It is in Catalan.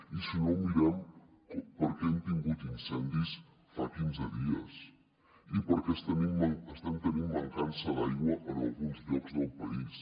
i si no mirem per què hem tingut incendis fa quinze dies i per què estem tenint mancança d’aigua en alguns llocs del país